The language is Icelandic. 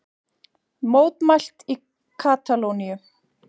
Mótmælt í Katalóníu